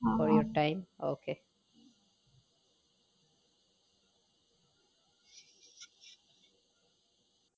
for your time ok